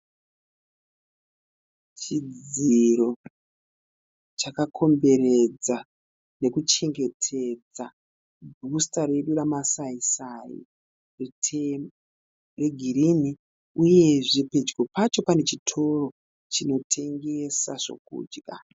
Chidziro chakakomberedza nekuchengetedza bhusita redu ramasaisai. Miti yegirini uyezve pedyo pacho pane chitoro chinotengesa zvokudya.